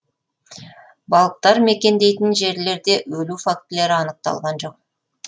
балықтар мекендейтін жерлерде өлу фактілері анықталған жоқ